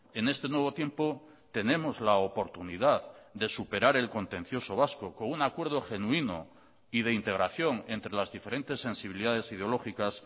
en este nuevo tiempo tenemos la oportunidad de superar el contencioso vasco con un acuerdo genuino y de integración entre las diferentes sensibilidades ideológicas